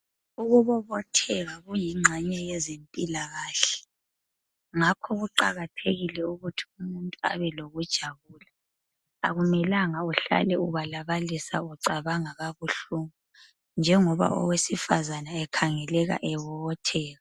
Ukukubobotheka kuyingxenye yezempilakahle ngakho kuqakathekile ukuthi umuntu abelokujabula akumelanga uhlale ubalabalisa ucabanga kabuhlungu. Njengoba owesifazana ekhangeleka ebobotheka